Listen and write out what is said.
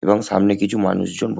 এবং সামনে কিছু মানুষজন ও--